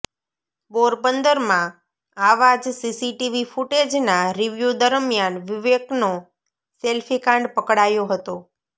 પોરબંદરમાં આવા જ સીસીટીવી ફૂટેજના રિવ્યુ દરમિયાન વિવેકનો સેલ્ફી કાંડ પકડાયો હતો